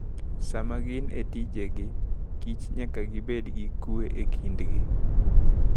Sama gin e tijegi, kich nyaka gibed gi kuwe e kindgi.